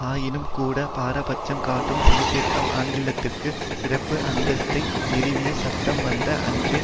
ஆயினும்கூட பாரபட்சம் காட்டும் சீர்திருத்தம் ஆங்கிலத்திற்கு சிறப்பு அந்தஸ்தை நிறுவிய சட்டம் வந்த அன்றே